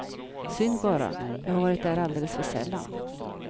Synd bara, jag har varit där alldeles för sällan.